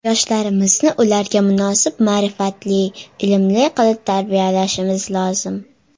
Yoshlarimizni ularga munosib ma’rifatli, ilmli qilib tarbiyalashimiz lozim.